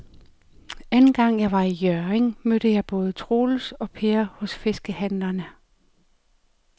Anden gang jeg var i Hjørring, mødte jeg både Troels og Per hos fiskehandlerne.